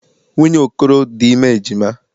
Nwunye Okoro dị ime ejima.